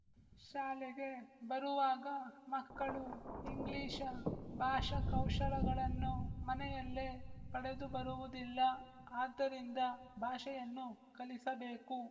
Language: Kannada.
ಶಾಲೆಗೆ ಬರುವಾಗ ಮಕ್ಕಳು ಇಂಗ್ಲಿಶ ಭಾಷಾಕೌಶಲಗಳನ್ನು ಮನೆಯಲ್ಲೇ ಪಡೆದುಬರುವುದಿಲ್ಲ ಆದ್ದರಿಂದ ಭಾಷೆಯನ್ನು ಕಲಿಸಬೇಕು